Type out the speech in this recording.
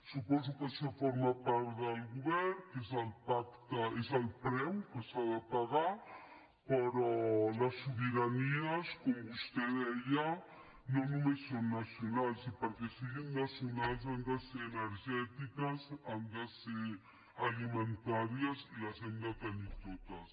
suposo que això forma part del govern que és el preu que s’ha de pagar però les sobiranies com vostè deia no només són nacionals i perquè siguin nacionals han de ser energètiques han de ser alimentàries i les hem de tenir totes